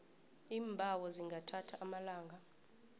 iimbawo zingathatha amalanga